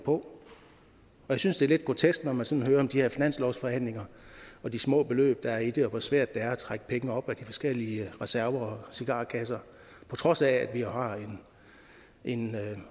på jeg synes det er lidt grotesk når man sådan hører om de her finanslovsforhandlinger og de små beløb der er i det hvor svært det er at trække penge op af de forskellige reserver og cigarkasser på trods af at vi har en